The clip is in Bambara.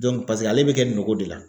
ale be kɛ nin nogo de la